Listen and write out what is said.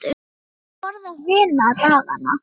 Og hvað er borðað hina dagana?